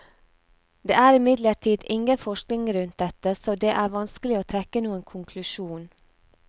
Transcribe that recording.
Det er imidlertid ingen forskning rundt dette, så det er vanskelig å trekke noen konklusjon.